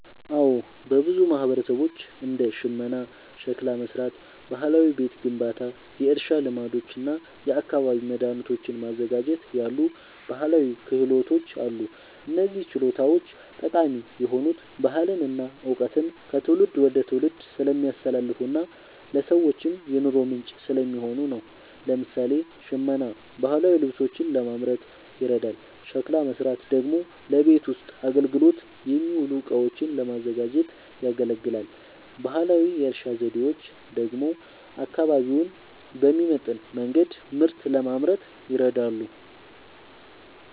አዎ፣ በብዙ ማህበረሰቦች እንደ ሽመና፣ ሸክላ መሥራት፣ ባህላዊ ቤት ግንባታ፣ የእርሻ ልማዶች እና የአካባቢ መድኃኒቶችን ማዘጋጀት ያሉ ባህላዊ ክህሎቶች አሉ። እነዚህ ችሎታዎች ጠቃሚ የሆኑት ባህልን እና እውቀትን ከትውልድ ወደ ትውልድ ስለሚያስተላልፉና ለሰዎችም የኑሮ ምንጭ ስለሚሆኑ ነው። ለምሳሌ፣ ሽመና ባህላዊ ልብሶችን ለማምረት ይረዳል፤ ሸክላ መሥራት ደግሞ ለቤት ውስጥ አገልግሎት የሚውሉ እቃዎችን ለማዘጋጀት ያገለግላል። ባህላዊ የእርሻ ዘዴዎች ደግሞ አካባቢውን በሚመጥን መንገድ ምርት ለማምረት ይረዳሉ።